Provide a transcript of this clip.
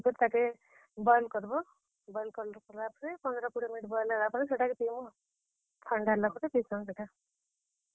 Long ସେଥିରେ, ଆମେ କିଛି, ।